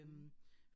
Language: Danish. Mh